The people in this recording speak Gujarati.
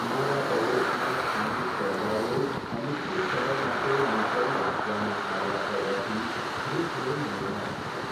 મારા પડોશમાં સ્થાનિક તહેવારો અનિશ્ચિત સમય માટે મુલતવી રાખવામાં આવ્યા હોવાથી હું થોડો નિરાશ છું.